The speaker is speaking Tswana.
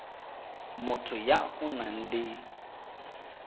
motho ya o nang le